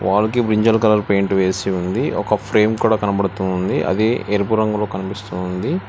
Ball కి brinjal colour paint వేసి ఉంది ఒక ఫ్రేమ్ కూడా కనపడుతు ఉంది అది ఎరుపు రంగులో కనిపిస్తుంది.